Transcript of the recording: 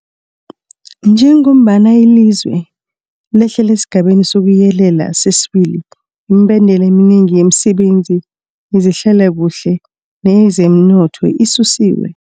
Njengombana ilizwe lehlela esiGabeni sokuYelela sesi-2, imibandela eminengi yemisebenzi yezehlalakuhle neyezomnotho isusiwe.